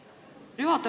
Aitäh, juhataja!